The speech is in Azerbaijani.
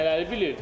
Nələri bilirdin?